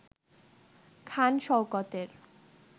খান শওকতের